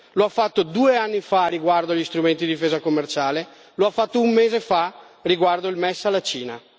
Lo ha fatto due anni fa riguardo agli strumenti di difesa commerciale e lo ha fatto un mese fa riguardo al MES alla Cina.